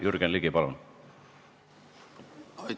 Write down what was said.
Jürgen Ligi, palun!